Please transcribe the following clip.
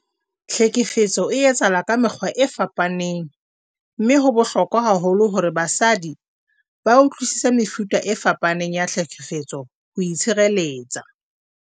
Tlhekefetso e etsahala ka mekgwa e fapaneng mme ho bohlokwa haholo hore basadi ba utlwisise mefuta e fapaneng ya tlhekefetso ho itshireletsa.